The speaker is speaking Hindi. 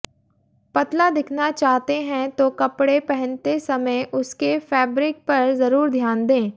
पतला दिखना चाहते हैं तो कपड़े पहनते समय उसके फैब्रिक पर जरूर ध्यान दें